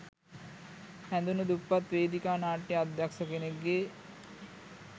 හැදුනු දුප්පත් වේදිකා නාට්‍ය අධ්‍යක්ෂ කෙනෙක්ගේ